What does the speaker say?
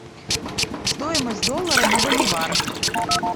стоимость доллара на боливар